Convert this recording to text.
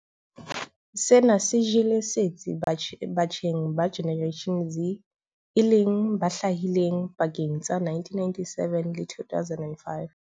Sena se jele setsi batjheng ba Generation Z e leng ba hlahileng pakeng tsa 1997 le 2005.